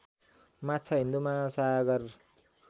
माछा हिन्द महासागर